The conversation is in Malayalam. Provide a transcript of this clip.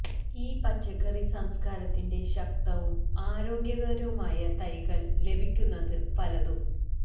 ഈ പച്ചക്കറി സംസ്ക്കാരത്തിന്റെ ശക്തവും ആരോഗ്യകരവുമായ തൈകൾ ലഭിക്കുന്നത് പലതും